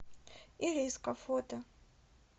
ириска фото